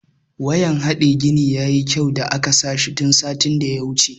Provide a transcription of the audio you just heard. Wayan hade gini ya yi kyau da aka sa shi tun satin da ya wuce.